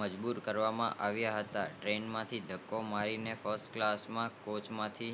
મજબુર કરવા માં આવિયા હતા ટ્રેન માંથી ડાકો મારી ને ફ્રિસ્તકાલસ ના કોચ માંથી